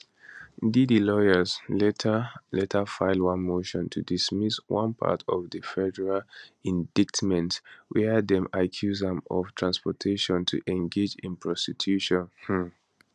diddy lawyers later later file one motion to dismiss one part of di federal indictment wia dem accuse am of transportation to engage in prostitution um